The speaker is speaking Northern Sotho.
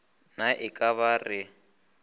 na e ka ba re